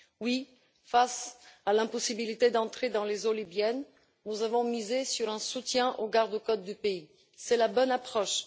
Oui, face à l'impossibilité d'entrer dans les eaux libyennes, nous avons misé sur un soutien aux garde côtes du pays. C'est la bonne approche.